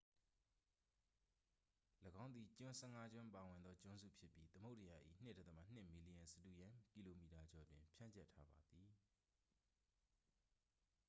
၎င်းသည် ကျွန်း 15 ကျွန်းပါဝင်သောကျွန်းစုဖြစ်ပြီး သမုဒ္ဒရာ၏ 2.2 မီလီယံ စတုရန်းကီလိုမီတာ ကျော်တွင် ဖြန့်ကျက်ထားပါသည်